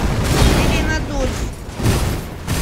зеленодольск